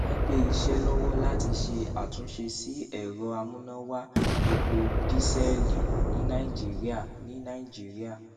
wọn gbé iṣẹ lọwọ láti ṣe àtúnṣe sí ẹrọ amúnáwá epo dísẹlì ní nàìjíríà ní nàìjíríà